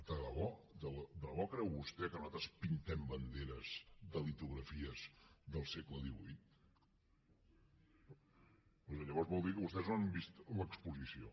de debò creu vostè que nosaltres pintem banderes de litografies del segle xviii dir que vostès no han vist l’exposició